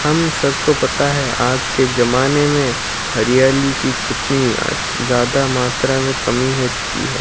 हम सबको पता है आज के जमाने में हरियाली की कितनी अच ज्यादा मात्रा में कमी हो चुकी है।